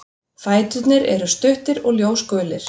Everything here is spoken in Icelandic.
Fæturnir eru stuttir og ljósgulir.